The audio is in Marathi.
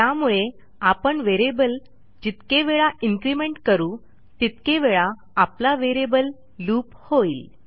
त्यामुळे आपण व्हेरिएबल जितके वेळा इन्क्रिमेंट करू तितके वेळा आपला व्हेरिएबल लूप होईल